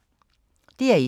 DR1